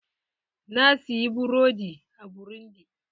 Na siyi burodi a burundi.